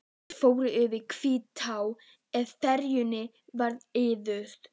Þeir fóru yfir Hvítá á ferjunni við Iðu.